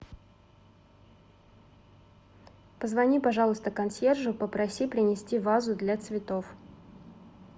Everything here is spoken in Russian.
позвони пожалуйста консьержу попроси принести вазу для цветов